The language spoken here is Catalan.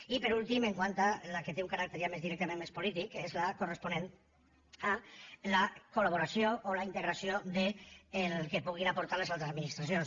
i per últim quant a la que té un caràcter ja més directament més polític és la corresponent a la colo la integració del que puguin aportar les altres administracions